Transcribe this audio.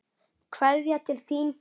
Kveðja til þín.